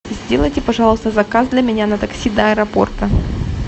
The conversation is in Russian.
сделайте пожалуйста заказ для меня на такси до аэропорта